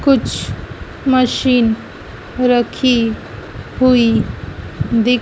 कुछ मशीन रखी हुई दिख--